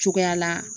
Cogoya la